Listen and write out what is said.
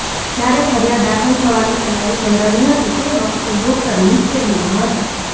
જયારે ફરીયાદ દાખલ થવાની તૈયારી થઈ રહી હતી તે વખતે ડોકટર મુશ્કેલીમાં હતા